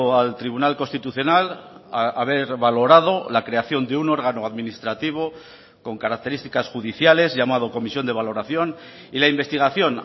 al tribunal constitucional haber valorado la creación de un órgano administrativo con características judiciales llamado comisión de valoración y la investigación